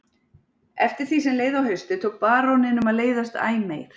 Eftir því sem leið á haustið tók baróninum að leiðast æ meir.